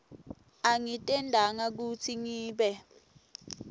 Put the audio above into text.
angitentanga kutsi ngibe